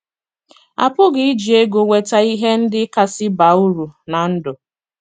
A pụghị iji ego nweta ihe ndị kasị baa uru ná ndụ